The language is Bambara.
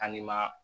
An nima